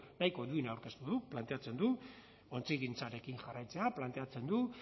nahiko duina aurkeztu du planteatzen du ontzigintzarekin jarraitzea planteatzen du